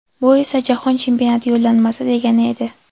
Bu esa Jahon Chempionati yo‘llanmasi degani edi.